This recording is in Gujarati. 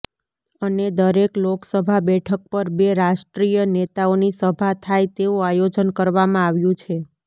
અને દરેક લોકસભા બેઠક પર બે રાષ્ટ્રીય નેતાઓની સભા થાય તેવું આયોજન કરવામાં આવ્યું છે